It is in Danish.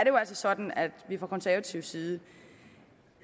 jo altså sådan at vi fra konservativ side